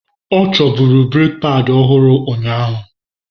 Ọ chọburu breeki padi ọhụrụ unyaahu.